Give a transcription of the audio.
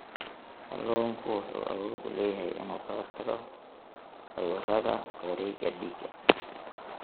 Kalluunku wuxuu awood u leeyahay inuu ka hortago cudurrada wareegga dhiigga.